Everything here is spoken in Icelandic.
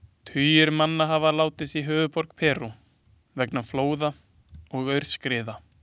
Tugir manna hafa látist í höfuðborg Perú vegna flóða og aurskriða.